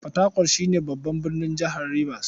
Fatakwal shi ne babban birnin jihar Ribas.